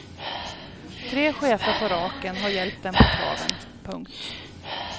Tre chefer på raken har hjälpt den på traven. punkt